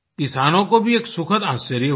किसानों को भी एक सुखद आश्चर्य हुआ